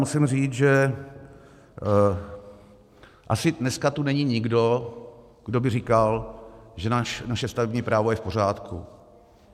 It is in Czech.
Musím říct, že asi dneska tu není nikdo, kdo by říkal, že naše stavební právo je v pořádku.